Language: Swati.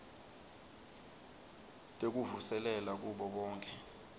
tekuvuselela kubo bonkhe